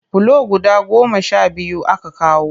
Bulo guda goma sha biyu aka kawo